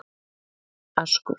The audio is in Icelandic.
Askur